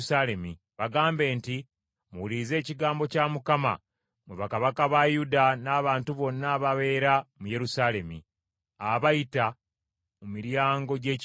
Bagambe nti, ‘Muwulirize ekigambo kya Mukama mmwe bakabaka ba Yuda n’abantu bonna ababeera mu Yerusaalemi, abayita mu miryango gy’ekibuga.